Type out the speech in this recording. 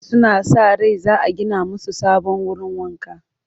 Suna sa ran za a gina musu sabon wurin wanka